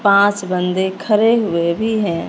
पांच बंदे खड़े हुए भी हैं।